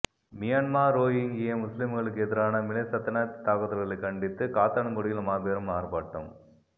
Myanmar Rohingya முஸ்லிம்களுக்கெதிரான மிலேச்சத்தனத் தாக்குதல்களைக் கண்டித்து காத்தான்குடியில் மாபெரும் ஆர்ப்பாட்டம்